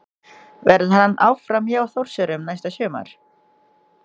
Verður hann áfram hjá Þórsurum næsta sumar?